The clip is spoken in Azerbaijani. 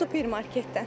Supermarketdən.